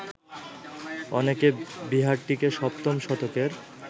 অনেকে বিহারটিকে সপ্তম শতকের